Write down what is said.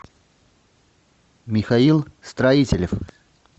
михаил строителев